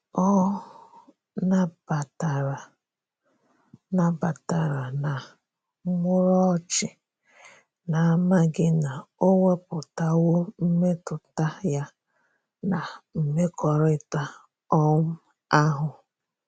Ọ na batara na batara na muru ochi, na amaghi na o weputawo mmetụta ya na mmekorita um ahu.